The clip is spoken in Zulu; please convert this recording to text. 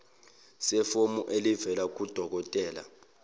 sefomu elivela kudokodela